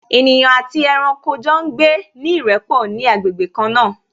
Ènìyàn àti ẹranko jọ ń gbé ní ìrẹ́pọ̀ ní agbègbè kan náà